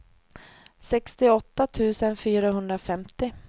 sextioåtta tusen fyrahundrafemtio